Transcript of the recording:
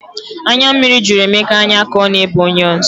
Anya mmiri jụrụ Emeka anya ka ọ na ebe onions